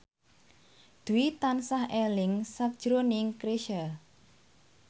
Dwi tansah eling sakjroning Chrisye